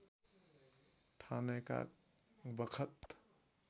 ठानेका बखत